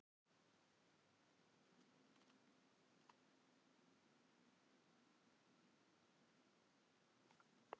Nei, ég bara skil ekki hvernig ég lifði það af.